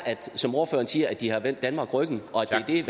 som ordføreren siger at de har vendt danmark ryggen og at det er